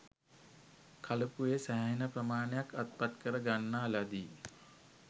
කලපුවේ සෑහෙන ප්‍රමාණයක් අත්පත් කර ගන්නා ලදී